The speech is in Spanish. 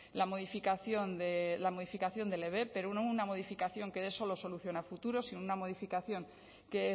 la modificación del ebep pero no una modificación que eso lo soluciona a futuro sino una modificación que